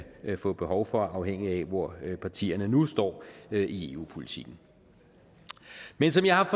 få behov for afhængigt af hvor partierne nu står i eu politikken men som jeg har